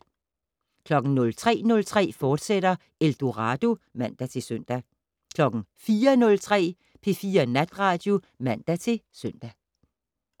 03:03: Eldorado *(man-søn) 04:03: P4 Natradio (man-søn)